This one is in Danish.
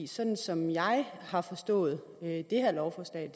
sådan som jeg har forstået det her lovforslag